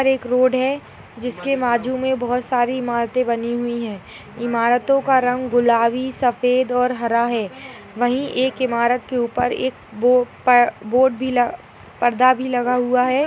यहाँ पर एक रोड है जिसके बाजू में बहुत सारी इमारते बनी हुईं हैं इमारतों का रंग गुलाबी सफ़ेद और हरा है| वहीं एक ईमारत के ऊपर एक बो-पर र्बोर्ड भी पर्दा भी लगा हुआ है।